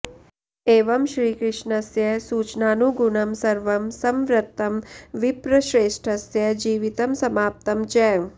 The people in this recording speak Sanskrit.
एवं श्रीकृष्णस्य सूचनानुगुणं सर्वं संवृत्तं विप्रश्रेष्ठस्य जीवितं समाप्तं च